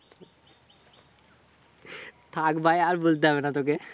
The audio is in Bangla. থাক ভাই আর বলতে হবে না তোকে।